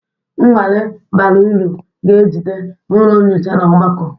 Nnwale bara uru ga-ejide n'ụlọ nyocha na ogbako